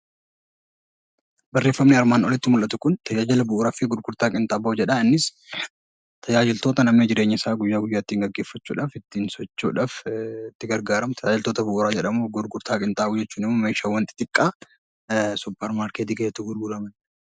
Barreeffamni asirratti dubbisaa jirru Kun tajaajila bu'uuraa fi gurgurtaa qinxaanboo jedha. Innis tajaajiloota naannoo jireenya guyyaa guyyaa ittiin gaggeeffachuudhaaf ittiin socho'uudhaaf itti gargaaramnu tajaajiloota bu'uuraa jedhamu. Gurgurtaa qinxaanboo jechuun immoo meeshaalee xixiqqaa suupparmaarkeetii keessatti gurguramanidha.